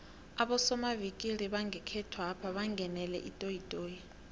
abosomavikili bangekhethwapha bangenele itoyitoyi